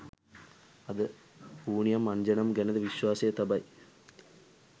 අදි හූනියම්අන්ජනම් ගැනද විශ්වාසය තබයි.